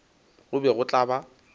go be go tla ba